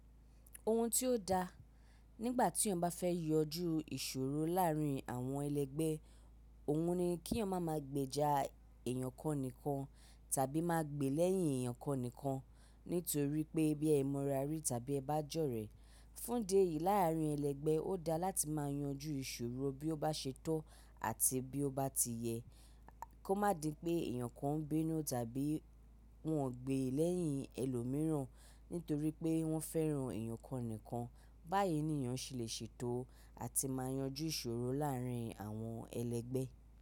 Ohun tí ó da nígbà tí eyan bá fẹ́ yanjú ìṣòro láàárín àwọn ẹlẹ́gbẹ́, òhun ni kí eyan máa ma gbèjà èyàn kan nìkan tàbí máa gbè lẹ́yìn èyàn kan nìkan. Nítorí pé bí ẹ mọ ra rí tàbí ẹ bá jọ̀rẹ́ fún de yìí láàrin ẹlẹ́gbẹ́ ó da láti máa yanjú ìṣòro bí ó bá ṣe tó àti bí ó bá ti yẹ kó má di pé èyàn kan ń binuu tàbí wọ́n ń gbé lẹ́yìn ẹlòmíràn nítorí pé wọ́n fẹ́ràn èyàn kan nìkan. Báyìí ni èyàn ṣe lè ṣètò àti máa yanjú ìṣòro láàrin àwọn ẹlẹ́gbẹ́